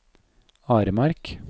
Aremark